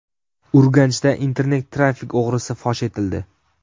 Urganchda internet-trafik o‘g‘risi fosh etildi.